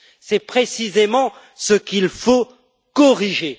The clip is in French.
C'est précisément ce qu'il faut corriger.